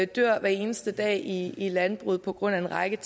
dør hver eneste dag i i landbruget på grund af en række